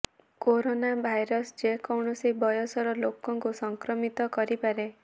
corona virus ଯେ କୌଣସି ବୟସର ଲୋକଙ୍କୁ ସଂକ୍ରମିତ କରିପାରେ